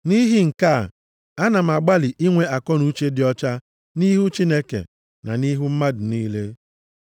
Nʼihi nke a, a na m agbalị inwe akọnuche dị ọcha nʼihu Chineke na nʼihu mmadụ niile.